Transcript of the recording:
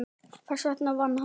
Þess vegna vann hann.